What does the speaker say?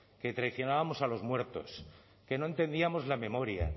que traicionábamos a los muertos que no entendíamos la memoria